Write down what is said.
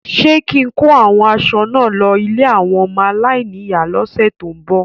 Ṣé kín-in kó àwọn aṣọ náà lọ ilé àwọn ọmọ aláìníyàá lọ́sẹ ti n bọ?